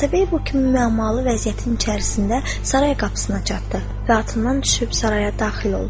Atabəy bu kimi müəmmalı vəziyyətin içərisində saray qapısına çatdı və atından düşüb saraya daxil oldu.